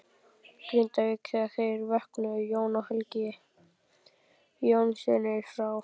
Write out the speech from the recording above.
Grindavík þegar þeir vöknuðu, Jón og Helgi Jónssynir frá